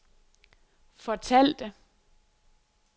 fortalte